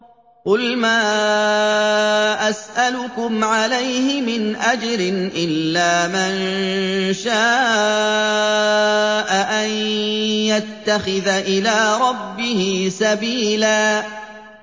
قُلْ مَا أَسْأَلُكُمْ عَلَيْهِ مِنْ أَجْرٍ إِلَّا مَن شَاءَ أَن يَتَّخِذَ إِلَىٰ رَبِّهِ سَبِيلًا